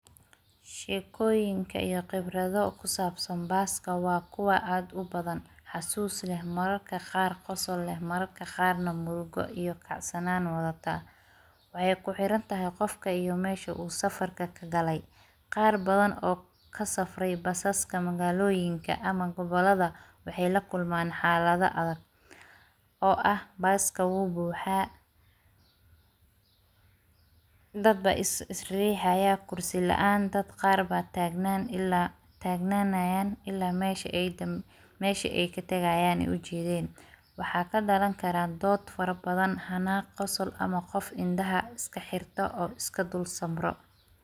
Sheekoyinka iyo qibrado oo kusaabsan baaska waa kuwaa aad ubadan xasuus leh mararka qaar qosol leh mararka qaarna murugo iyo kacsanaan wadhata, waxey kuxirantahay qofka iyo meesha uu safarka kagaley, qaar badan oo kasafrey basaska magaaloyinka ama gobolada waxay lakulman xaalado adhag oo ah baask awuu buuxa dadba is riixaya kursi laan dad qaar baa taagnanayan ilaa meshi ay katagayan ay ujeeden, waxaa kadaran karaan dood fara badan xanaaq qosol ama qof indhaha iska xirto oo iska dul samro.